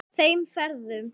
Þeim ferðum.